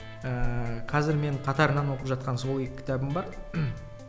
ыыы қазір мен қатарынан оқып жатқан сол екі кітабым бар